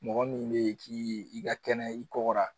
Mɔgɔ min bɛ ye k'i ka kɛnɛya i kɔgɔra